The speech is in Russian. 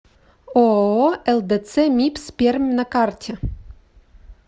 ооо лдц мибс пермь на карте